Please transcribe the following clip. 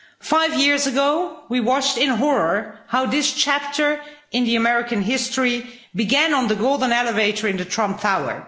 Five years ago, we watched in horror as this chapter in American history began on the golden elevator in Trump Tower.